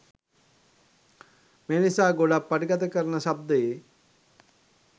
මේනිසා ගොඩක් පටිගත කරන ශබිදයේ